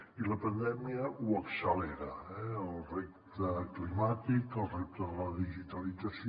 i la pandèmia ho accelera eh el repte climàtic el repte de la digitalització